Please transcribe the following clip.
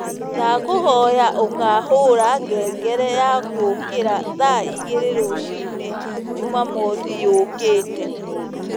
ndakũhoya ũkahũra ngengere ya gũũkĩra thaa ĩgĩrĩ rũcĩĩnĩ jũmamothĩ yũũkite